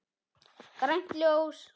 Grænt ljós.